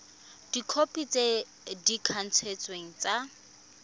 dikhopi tse di kanisitsweng tsa